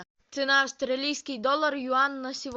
цена австралийский доллар юань на сегодня